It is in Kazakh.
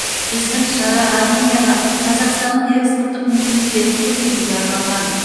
біздің шара арменияға қазақстанның экспорттық мүмкіндіктерін көрсетуге арналған